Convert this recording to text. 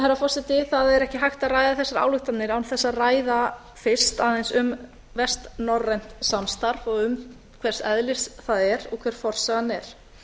herra forseti það er ekki hægt að ræða þessar ályktanir án þess að ræða fyrst aðeins um vestnorrænt samstarf og um hvers eðlis það er og hver forsagan er